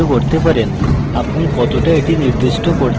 আপনি কতটা এটি নির্দিষ্ট করতে পারেন